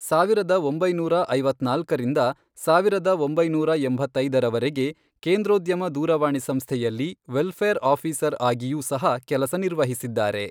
ಸಾವಿರದ ಒಂಬೈನೂರ ಐವತ್ನಾಲ್ಕರಿಂದ ಸಾವಿರದ ಒಂಬೈನೂರ ಎಂಬತ್ತೈದರವರೆಗೆ ಕೆಂದ್ರೋದ್ಯಮ ದೂರವಾಣಿ ಸಂಸ್ಥೆಯಲ್ಲಿ ವೆಲ್ಫೇರ್ ಆಫಿಸರ್ ಆಗಿಯೂ ಸಹ ಕೆಲಸ ನಿರ್ವಹಿಸಿದ್ದಾರೆ.